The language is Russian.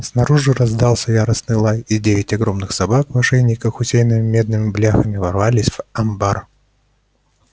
снаружи раздался яростный лай и девять огромных собак в ошейниках усеянных медными бляхами ворвались в амбар